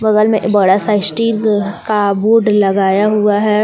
बगल मे एक बड़ा सा स्टील का बोर्ड लगाया हुआ है।